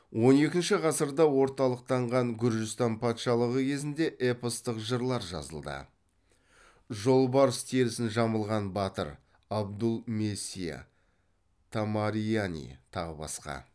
он екінші ғасырда орталықтанған гүржістан патшалығы кезінде эпостық жырлар жазылды